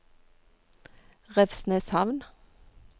Revsneshamn